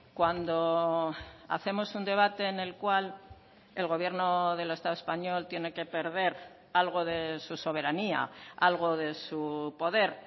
cuando hacemos un debate en el cual el gobierno del estado español tiene que perder algo de su soberanía algo de su poder